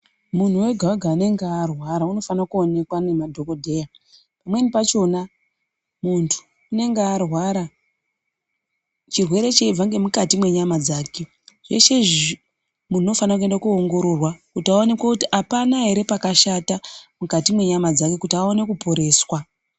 Munhu wega wega anenge arwara anofanirwa kuonekwa nemadhokodheya pamweni pachona muntu anenge arwa chirwere chichibva nemukati menyama dzake zvese izvi muntu unofana kuenda kunoongororwa kuti aoneke kuti hapana here chakashata mukati menyama dzake kuti aone kuporeswa.